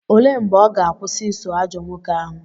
Olee mgbe ọ ga-akwụsị iso ajọ nwoke ahụ?